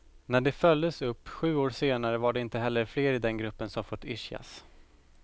När de följdes upp sju år senare var det inte heller fler i den gruppen som fått ischias.